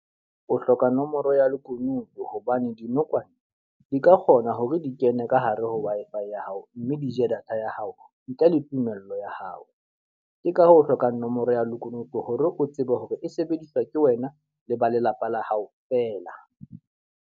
O hloka nomoro ya lekunutu hobane dinokwane di ka kgona hore di kene ka hare ho Wi-Fi ya hao, mme di je data ya hao ntle le tumello ya hao. Ke ka ho hloka nomoro ya lekunutu hore o tsebe hore e sebediswa ke wena le ba lelapa la hao fela.